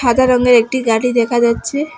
সাদা রঙের একটি গাড়ি দেখা যাচ্ছে।